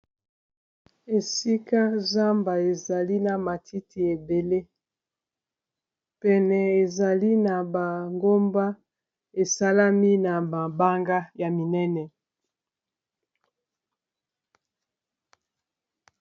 Esika zamba ezali na matiti ebele pene ezali na bangomba esalami na mabanga ya minene.